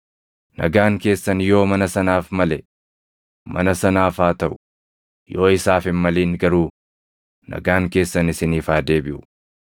Nagaan keessan yoo mana sanaaf male, mana sanaaf haa taʼu; yoo isaaf hin malin garuu nagaan keessan isiniif haa deebiʼu.